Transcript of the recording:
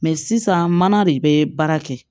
Mɛ sisan mana de bɛ baara kɛ